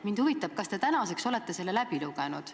Mind huvitab, kas te tänaseks olete selle läbi lugenud.